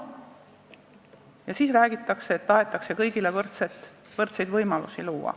Ja samas räägitakse, et tahetakse kõigile võrdsed võimalused luua.